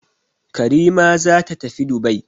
Karima za ta tafi Dubai.